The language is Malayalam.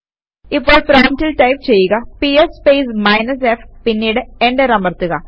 ഇപ്പോൾ പ്രോംപ്റ്റിൽ ടൈപ് ചെയ്യുകps സ്പേസ് മൈനസ് f പിന്നീട് എന്റർ അമർത്തുക